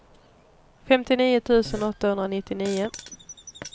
femtionio tusen åttahundranittionio